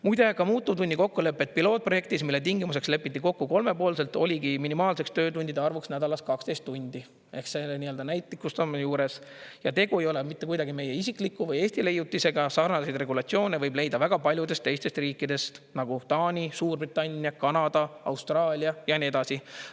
Muide, ka muutuvtunni kokkuleppe pilootprojektis, mille tingimuseks lepiti kokku kolmepoolselt, oligi minimaalseks töötundide arvuks nädalas 12 tundi ehk näitlikustamine juures, ja tegu ei ole mitte kuidagi meie isikliku või Eesti leiutisega, sarnaseid regulatsioone võib leida väga paljudest teistest riikidest, nagu Taani, Suurbritannia, Kanada, Austraalia ja nii edasi.